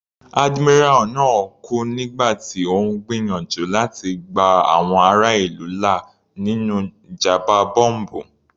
Admiral náà kú nígbà tí Ó ń gbìyànjú láti gba àwọn ará ìlú là nínú ìjàmbá bọ́m̀bù.